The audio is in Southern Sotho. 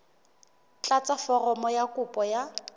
tlatsa foromo ya kopo ya